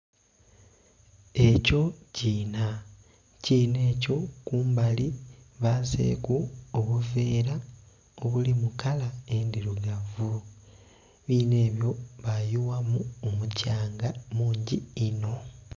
Ekyo kiinha, ekiinha ekyo kumbali baazeku obuvera obuli mu kala endhirugavu ekiinha ebyo ba yughamu omukyanga mungi inho.